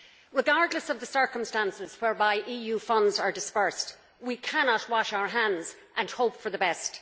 Regardless of the circumstances whereby EU funds are disbursed, we cannot wash our hands and hope for the best.